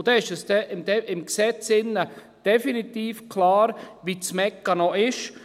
Dann ist im Gesetz definitiv klar, wie der Mechanismus ist.